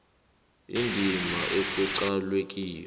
indima ekuqalwe kiyo